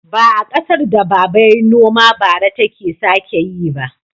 Ba a ƙasar da baba yayi noma bara take sake yi ba.